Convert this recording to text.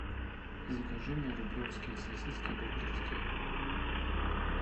закажи мне рублевские сосиски докторские